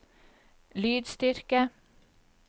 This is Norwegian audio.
lydstyrke